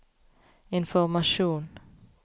informasjon